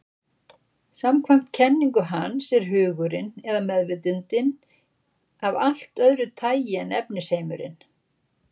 Samkvæmt kenningu hans er hugurinn, eða meðvitundin, af allt öðru tagi en efnisheimurinn.